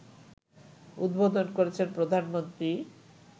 উদ্বোধন করেছেন প্রধানমন্ত্রী